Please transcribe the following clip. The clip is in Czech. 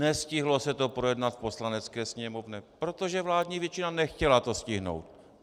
Nestihlo se to projednat v Poslanecké sněmovně, protože vládní většina nechtěla to stihnout.